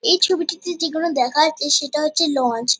এই ছবিটিতে যেগুলো দেখা যাচ্ছে সেটা হচ্ছে লঞ্চ ।